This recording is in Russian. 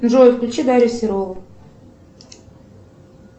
джой включи дарью серову